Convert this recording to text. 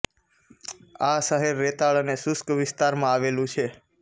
આ શહેર રેતાળ અને શુષ્ક વિસ્તારમાં આવેલું છે